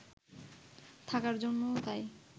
থাকার জন্যই তো